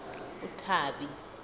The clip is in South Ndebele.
uthabi